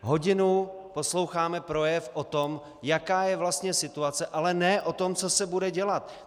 hodinu posloucháme projev o tom, jaká je vlastně situace, ale ne o tom, co se bude dělat.